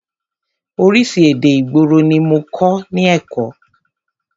Oríṣi èdè ìgboro ní mọ kọ́ ní èkó.